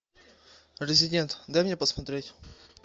резидент дай мне посмотреть